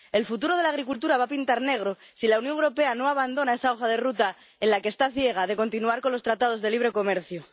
El futuro de la agricultura va a pintar negro si la Unión Europea no abandona esa hoja de ruta en la que está ciega de continuar con los tratados de libre comercio.